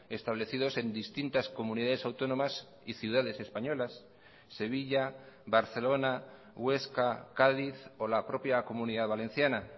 establecidos en distintas comunidades autónomas y ciudades españolas sevilla barcelona huesca cádiz o la propia comunidad valenciana